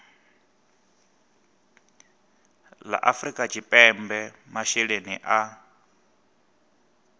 la afrika tshipembe masheleni a